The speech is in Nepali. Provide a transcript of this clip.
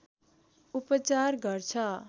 उपचार गर्छ